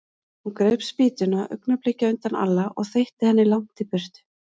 Hún greip spýtuna augnabliki á undan Alla og þeytti henni langt í burtu.